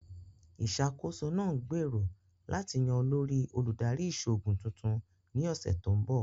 Ìṣàkóso náà ń gbèrò láti yan olórí Olùdarí Ìṣòògùn tuntun ni ọsẹ̀ tó ń bọ̀